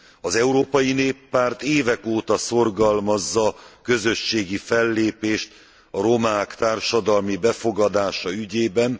Az Európai Néppárt évek óta szorgalmazza a közösségi fellépést a romák társadalmi befogadása ügyében.